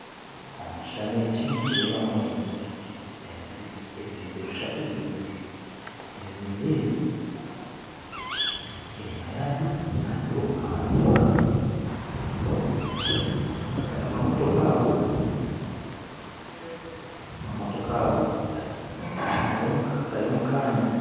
Omu kishushani eki nitureeba ebizimbe bishatu by'emizigiti , ebizimbe ebi enyuma yabyo hariyo amamotoka , amamotoka ago gari omukaanya.